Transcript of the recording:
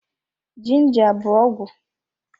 Ginja bụ ọgwụ